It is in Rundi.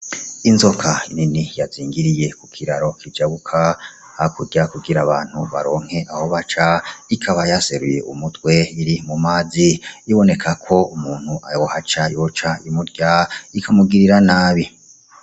Inzoka nini yazingiriye ku kiraro kijabuka hakurya kugira abantu baronke aho baca ikaba yaseruye umutwe iri mu mazi iboneka ko umuntu yohaca yoca imurya ikamugirira nabi.